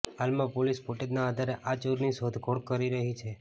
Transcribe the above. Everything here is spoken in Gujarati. હાલમાં પોલીસ ફૂટેજના આધારે આ ચોરની શોધખોળ કરી રહી છે